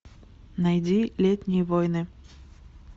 найди летние войны